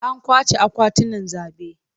An kwace akwatunan zabe.